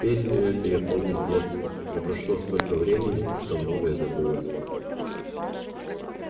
песню эту я помню с детства но прошло столько времени что многое забылось